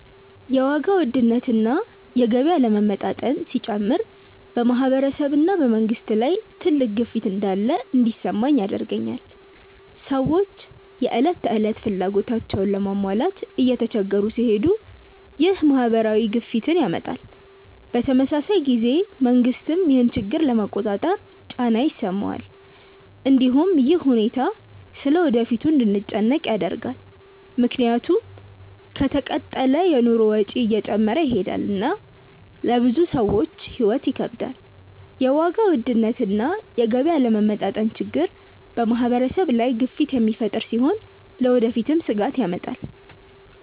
የዋጋ ውድነት እና የገቢ አለመመጣጠን ሲጨምር በማህበረሰብ እና በመንግስት ላይ ትልቅ ግፊት እንዳለ እንዲሰማኝ ያደርገኛል። ሰዎች የዕለት ተዕለት ፍላጎታቸውን ለመሟላት እየተቸገሩ ሲሄዱ ይህ ማህበራዊ ግፊትን ያመጣል። በተመሳሳይ ጊዜ መንግስትም ይህን ችግር ለመቆጣጠር ጫና ይሰማዋል። እንዲሁም ይህ ሁኔታ ስለ ወደፊቱ እንድንጨነቅ ያደርጋል፣ ምክንያቱም ከተቀጠለ የኑሮ ወጪ እየጨመረ ይሄዳል እና ለብዙ ሰዎች ሕይወት ይከብዳል። የዋጋ ውድነት እና የገቢ አለመመጣጠን ችግር በማህበረሰብ ላይ ግፊት የሚፈጥር ሲሆን ለወደፊትም ስጋት ያመጣል።